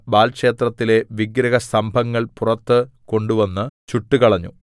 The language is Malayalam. ബാല്‍ ക്ഷേത്രത്തിലെ വിഗ്രഹസ്തംഭങ്ങൾ പുറത്ത് കൊണ്ടുവന്ന് ചുട്ടുകളഞ്ഞു